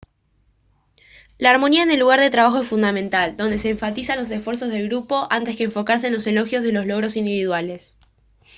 la armonía en el lugar de trabajo es fundamental donde se enfatizan los esfuerzos del grupo antes que enfocarse en los elogios de los logros individuales